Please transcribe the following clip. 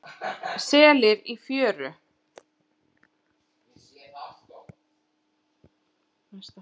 Selir í fjöru.